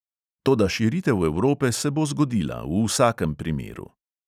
Toda širitev evrope se bo zgodila, v vsakem primeru.